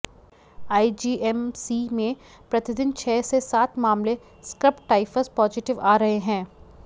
IGMC में प्रतिदिन छह से सात मामले स्क्रब टाइफस पॉजिटिव आ रहे हैं